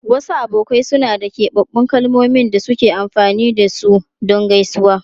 Wasu abokai suna da keɓaɓɓun kalmomin da suke amfani da su don gaisuwa.